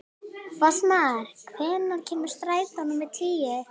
Fossmar, hvenær kemur strætó númer tíu?